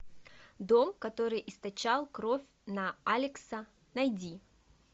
дом который источал кровь на алекса найди